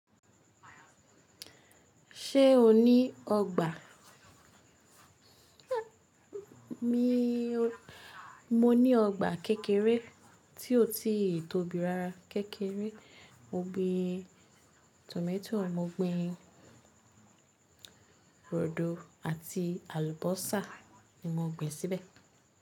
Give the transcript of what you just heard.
Ṣé o ní ọgbà? Mo ní ọgbà kékeré tí o ti tóbi rara. Kékéré. Mo gbin tòmátò, mo gbin ròdò àti àlùbósà ni mo gbin síbẹ̀